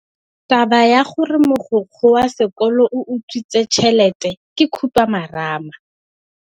Taba ya gore mogokgo wa sekolo o utswitse tšhelete ke khupamarama.